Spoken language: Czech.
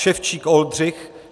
Ševčík Oldřich